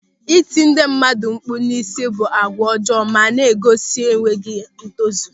Ịti ndị mmadụ mkpụ̀ n'isi bụ àgwà ọjọọ ma na-egosi enweghị ntozu.